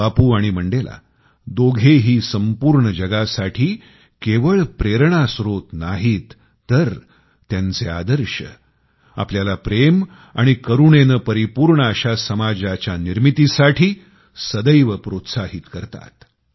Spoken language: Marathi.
बापू आणि मंडेला दोघेही संपूर्ण जगासाठी केवळ प्रेरणास्रोत नाहीत तर त्यांचे आदर्श आपल्याला प्रेम आणि करुणेने परिपूर्ण अशा समाजाच्या निर्मितीसाठी सदैव प्रोत्साहित करतात